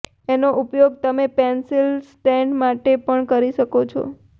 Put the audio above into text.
એનો ઉપયોગ તમે પેન્સિલ સ્ટેન્ડ માટે પણ કરી શકો છો